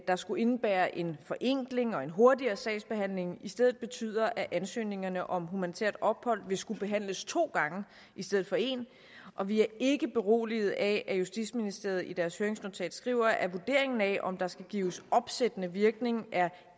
der skulle indebære en forenkling og en hurtigere sagsbehandling i stedet betyder at ansøgningerne om humanitært ophold vil skulle behandles to gange i stedet for en og vi er ikke beroliget af at justitsministeriet i deres høringsnotat skriver at vurderingen af om der skal gives opsættende virkning er